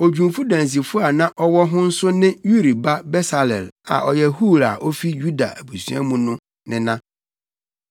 Odwumfo dansifo a na ɔwɔ ho nso ne Uri ba Besaleel a ɔyɛ Hur a ofi Yuda abusua mu no nena.